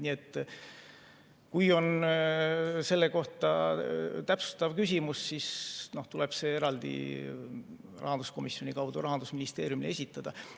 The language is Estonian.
Nii et kui on selle kohta täpsustav küsimus, siis tuleb see eraldi rahanduskomisjoni kaudu Rahandusministeeriumile esitada.